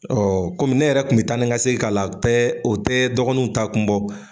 Ɔɔ ne yɛrɛ kun be taa ni ka segin k'a la tɛ o tɛ dɔgɔninw taa kun bɔ.